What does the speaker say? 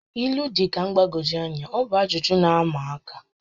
ílú dị ka mgbagwoju anya, ha bụ ajụjụ na-ama aka